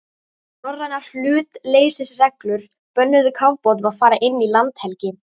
Norrænar hlutleysisreglur bönnuðu kafbátum að fara inn í landhelgi